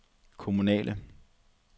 kommunale